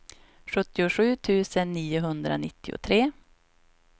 sjuttiosju tusen niohundranittiotre